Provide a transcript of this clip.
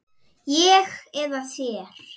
Ég eða þér?